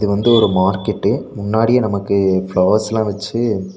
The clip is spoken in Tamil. வந்து ஒரு மார்க்கெட்டு முன்னாடியே நமக்கு ஃப்ளவர்ஸ்லா வச்சு.